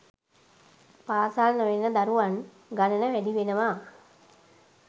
පාසල් නොයන දරුවන් ගණන වැඩිවෙනවා.